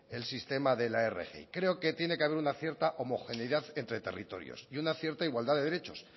el sistema de la rgi creo que tiene que haber una cierta homogeneidad entre territorios y una cierta igualdad de derechos